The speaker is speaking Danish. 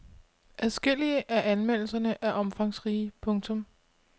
Adskillige af anmeldelserne er omfangsrige. punktum